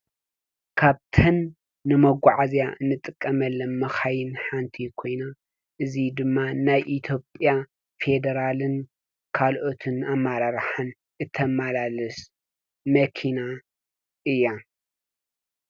ካብተን ንመጓዓዝያ ንጥቀመለን መካይን ሓንቲ ኮይና እዚ ድማ ናይ ኢትዮጲያ ፌደራልን ካልኦትን ኣመራርሓን እተመላልስ መኪና እያ ።